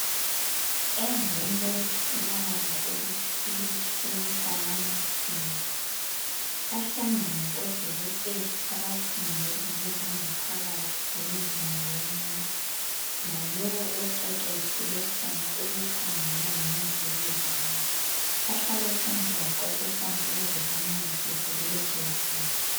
Emveni kutholakala ukuthi kule "Cancer" yamathumbu bahlangene odokotela abakhangela ngezanga phakathi zomzimba womuntu lalowo oqeqetshele khona ukukhangela ngemvukuzane, bahlale phansi baxoxisana ukuze bamncedise kulokhu ukugula.